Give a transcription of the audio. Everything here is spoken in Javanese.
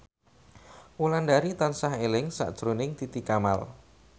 Wulandari tansah eling sakjroning Titi Kamal